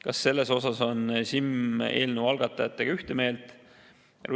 Kas selles osas on SiM eelnõu algatajatega ühte meelt?